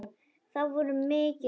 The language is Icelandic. Það voru mikil átök.